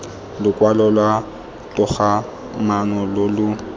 lokwalo lwa togamaano lo lo